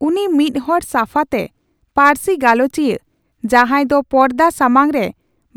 ᱩᱱᱤ ᱢᱤᱫᱦᱚᱲ ᱥᱟᱯᱷᱟᱛᱮ ᱯᱟᱹᱨᱥᱤ ᱜᱟᱞᱚᱪᱤᱭᱟᱹ, ᱡᱟᱸᱦᱟᱭ ᱫᱚ ᱯᱚᱨᱫᱟ ᱥᱟᱢᱟᱝ ᱨᱮ